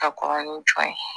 Ka kɔrɔ ni jɔn ye